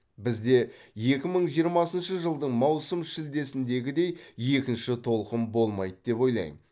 бізде екі мың жиырмасыншы жылдың маусым шілдесіндегідей екінші толқын болмайды деп ойлаймын